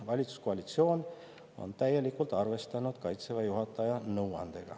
Valitsuskoalitsioon on täielikult arvestanud Kaitseväe juhataja nõuandega.